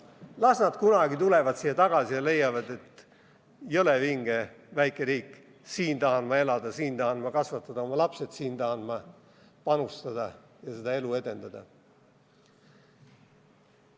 Las nad tulevad kunagi siia tagasi ja leiavad, et jõle vinge väike riik – siin tahan ma elada, siin tahan ma kasvatada oma lapsed, siia tahan ma panustada ja siinset elu edendada.